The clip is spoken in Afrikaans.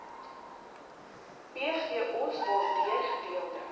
pgos waardeur gedeelde